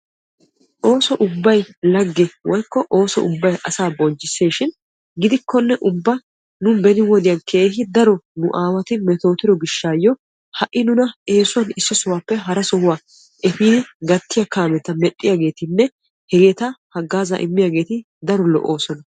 ooso ubbay lagge woyikko ooso ubbay asaa bonchchisses shin gidikkokka nu beni wodiyan keehi daro nu aawati metootido gishshaayyo ha'i nuna eesuwan issi sohuwappe hara sohuwa efi gattiyaa kaamiya mel'iyaageetinne hegeeta haggaazza immiyaageeti daro lo'oosona.